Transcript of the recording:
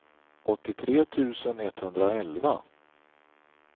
åttiotre tusen etthundraelva